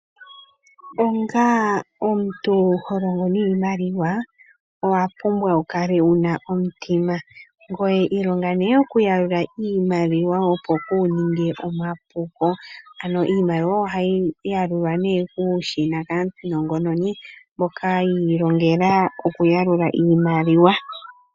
Onga omuntu ho longo niimaliwa, owa pumbwa okukala wu na omutima. Kala nee wu shi okuyalula opo kuu ninge omapuko. Ohayi yalulwa kuushina mboka wa longelwa okuyalula iimaliwa.